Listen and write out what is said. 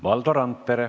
Valdo Randpere.